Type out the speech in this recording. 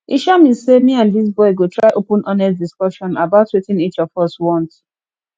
e sure me sey me and dis boy go try open honest discussion about wetin each of us want